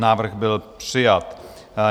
Návrh byl přijat.